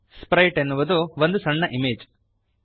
Sprite ಅನ್ನುವುದು ಒಂದು ಸಣ್ಣ ಇಮೇಜ್ ಚಿತ್ರ